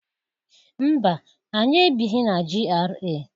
Mba! Anyị ebighi na GRA.